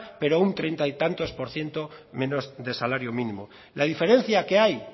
pero un treinta y tantos por ciento menos de salario mínimo la diferencia que hay